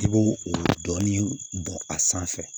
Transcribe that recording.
I b'o o dɔɔni bɔ a sanfɛ